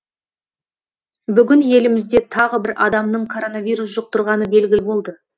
бүгін елімізде тағы бір адамның коронавирус жұқтырғаны белгілі болды